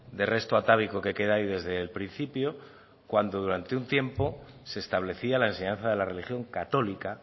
de resto atávico que queda ahí desde el principio cuando durante un tiempo se establecía la enseñanza de la religión católica